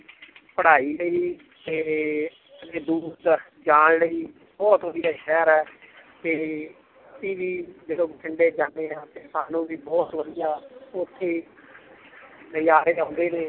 ਪੜ੍ਹਾਈ ਲਈ ਤੇ ਅੱਗੇ ਦੂਰ ਜਾਣ ਲਈ ਬਹੁਤ ਵਧੀਆ ਸ਼ਹਿਰ ਹੈ ਤੇ ਅਸੀਂ ਵੀ ਜਦੋਂ ਬਠਿੰਡੇ ਜਾਂਦੇ ਹਾਂ ਤੇ ਸਾਨੂੰ ਵੀ ਬਹੁਤ ਵਧੀਆ ਉੱਥੇ ਨਜ਼ਾਰੇ ਆਉਂਦੇ ਨੇ